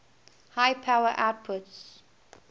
high power outputs